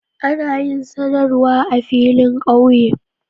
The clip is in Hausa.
Ana yin sanarwa a filin kauye.